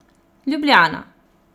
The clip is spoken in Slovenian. Ljubljana.